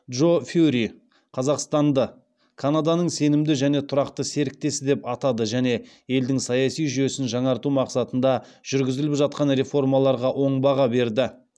джо фьюри қазақстанды канаданың сенімді және тұрақты серіктесі деп атады және елдің саяси жүйесін жаңарту мақсатында жүргізіліп жатқан реформаларға оң баға берді